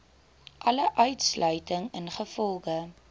alle uitsluiting ingevolge